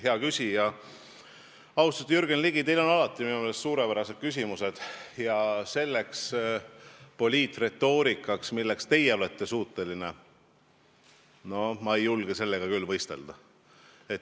Hea küsija, austatud Jürgen Ligi, teil on minu meelest alati suurepärased küsimused ja selle poliitretoorikaga, milleks teie suuteline olete, ma ei julge küll võistelda.